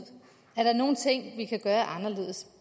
er der nogle ting vi kan gøre anderledes